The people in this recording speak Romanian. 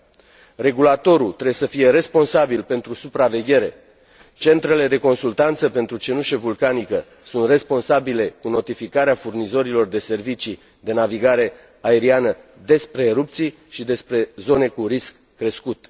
Organismul de reglementare trebuie să fie responsabil pentru supraveghere, centrele de consultanță pentru cenușă vulcanică sunt responsabile cu notificarea furnizorilor de servicii de navigare aeriană despre erupții și despre zone cu risc crescut.